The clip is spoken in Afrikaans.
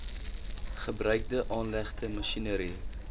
gebruikte aanlegte masjinerie